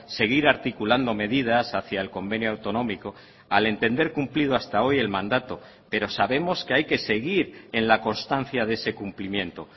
seguir articulando medidas hacia el convenio autonómico al entender cumplido hasta hoy el mandato pero sabemos que hay que seguir en la constancia de ese cumplimiento